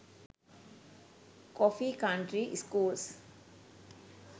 coffee county schools